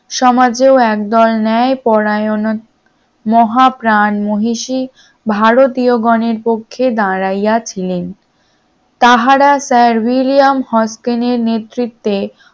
সমাজেও একদল ন্যায় পরায়ণ মহাপ্রাণ মনীষী ভারতীয় গনের পক্ষে দাঁড়াইয়া ছিলেন, তাহারা সরবেলিয়াম হস্টেনের নেতৃত্বে